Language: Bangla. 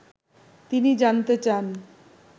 তিনি জানতে চান